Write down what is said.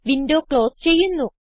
window close ചെയ്യുന്നു